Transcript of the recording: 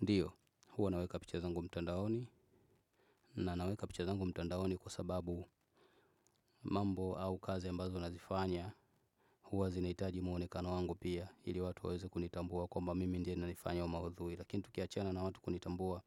Ndiyo, huwa naweka picha zangu mtandaoni, na naweka picha zangu mtandaoni kwa sababu mambo au kazi ambazo nazifanya, huwa zinahitaji mwonekano wangu pia, ili watu waweze kunitambua kwamba mimi ndiye nayefanya maudhui, lakini tukiachana na watu kunitambua.